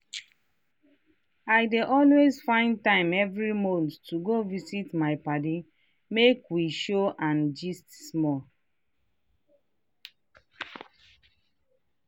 i dey always find time every month to go visit my padi man make we chow and gist small.